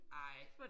Ej